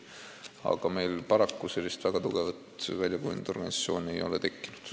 Aga meil paraku sellist väga tugevat väljakujunenud organisatsiooni ei ole tekkinud.